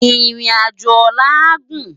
Irin ájó òlà á gún